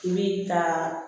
I bi taa